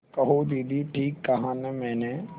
कहो दीदी ठीक कहा न मैंने